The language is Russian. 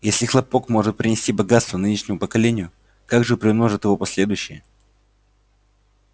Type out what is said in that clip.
если хлопок может принести богатство нынешнему поколению как же приумножат его последующие